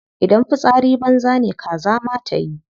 Idan fitsari banza ne kaza ma tayi.